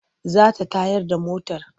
Za ta tayar da motar.